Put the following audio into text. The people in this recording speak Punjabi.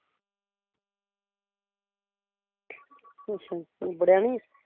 ਅੱਛਾ ਨਿਬੜਿਆ ਨੀ